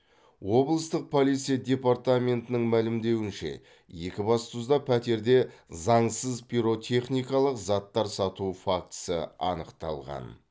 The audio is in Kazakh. облыстық полиция департаментінің мәлімдеуінше екібастұзда пәтерде заңсыз пиротехникалық заттар сату фактісі анықталған